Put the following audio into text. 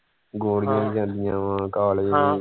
ਗੋਰੀਆਂ ਵੀ ਜਾਂਦੀਆਂ ਵਾ ਕਾਲੇ ਵੀ।